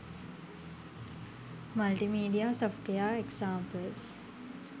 multimedia software examples